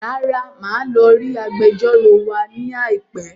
Rárá, màá lọ rí Agbẹjọ́rò wa ní àìpẹ́